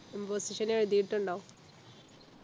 imposition എഴുതിയിട്ടുണ്ടോ